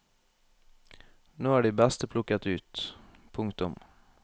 Nå er de beste plukket ut. punktum